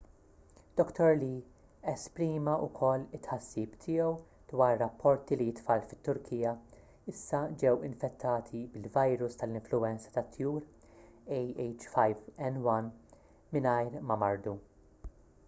dr lee esprima wkoll it-tħassib tiegħu dwar rapporti li t-tfal fit-turkija issa ġew infettati bil-virus tal-influwenza tat-tjur ah5n1 mingħajr ma mardu